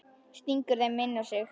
Stingur þeim inn á sig.